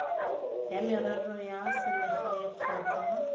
ya merero ya selegae kgotsa